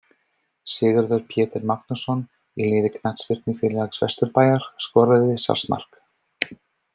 Sigurður Pétur Magnússon, í liði Knattspyrnufélags Vesturbæjar skoraði sjálfsmark.